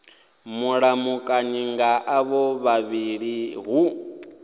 mulamukanyi nga avho vhavhili hu